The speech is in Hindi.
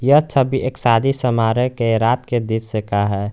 ये छवि भी एक शादी समारोह के रात के दृश्य का है।